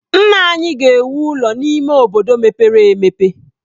Nna ya ga-ewu ụlọ n'ime obodo mepere emepe.